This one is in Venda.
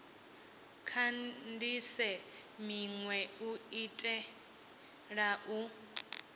kandise minwe u itela u